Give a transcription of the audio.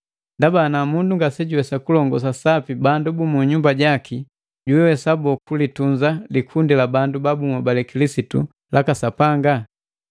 Ndaba ngati mundu ngasejuwesa kulongosa sapi bandu bu nyumba jaki, jiwesa boo kulitunza likundi la bandu babuhobale Kilisitu laka Sapanga?